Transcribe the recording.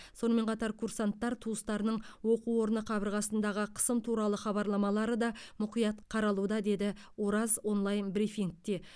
сонымен қатар курсанттар туыстарының оқу орны қабырғасындағы қысым туралы хабарламалары да мұқият қаралуда деді ораз онлайн брифингіде